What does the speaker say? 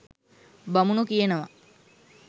බමුණො කියනව